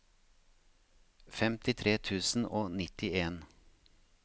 femtitre tusen og nittien